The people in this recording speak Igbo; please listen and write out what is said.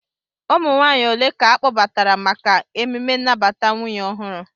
Ụmụ nwaanyị ole ka ọ kpọbatara maka emjme nnabata nwunye ọhụrụ?